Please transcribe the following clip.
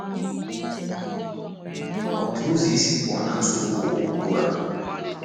Ọ dị ụzọ isi pụọ na nsogbu ụwa ugbu a?